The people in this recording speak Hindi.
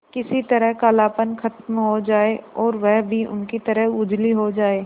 किसी तरह कालापन खत्म हो जाए और वह भी उनकी तरह उजली हो जाय